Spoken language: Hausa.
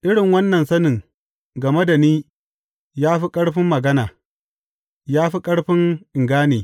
Irin wannan sanin game da ni ya fi ƙarfin magana, ya fi ƙarfi in gane.